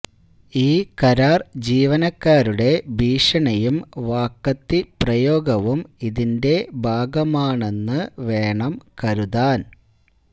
ഈ കരാർ ജീവനക്കാരുടെ ഭീഷണിയും വാക്കത്തിപ്രയോഗവും ഇതിന്റെ ഭാഗമാണെന്നു വേണം കരുതാൻ